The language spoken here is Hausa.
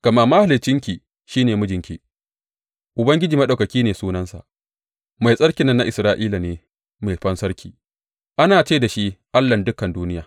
Gama Mahaliccinki shi ne mijinki, Ubangiji Maɗaukaki ne sunansa, Mai Tsarkin nan na Isra’ila ne Mai Fansarki; ana ce da shi Allahn dukan duniya.